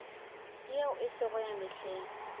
yeo e sego ya mehleng